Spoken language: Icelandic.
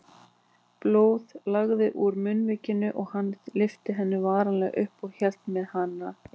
Blóð lagaði úr munnvikunum og hann lyfti henni varlega upp og hélt með hana inn.